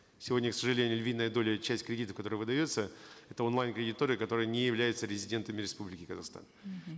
сегодня к сожалению львиная доля часть кредитов которая выдается это онлайн кредиторы которые не являются резидентами республики казахстан мхм